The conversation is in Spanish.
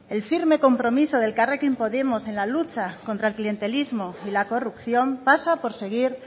el firme compromiso de elkarrekin podemos en la lucha contra el clientelismo y la corrupción pasa por seguir